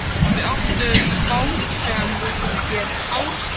Við áttum bát sem hét Ársæll.